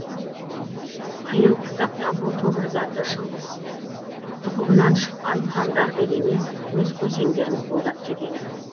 қиын қыстақта бұл тобыр заты шыңғыс тұқымынан шыққан хандарды емес өз көсемдерін қолдап кетеді